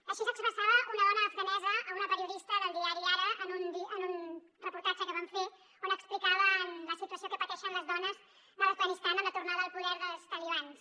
així s’expressava una dona afganesa a una periodista del diari ara en un reportatge que van fer on explicaven la situació que pateixen les dones de l’afganistan amb la tornada al poder dels talibans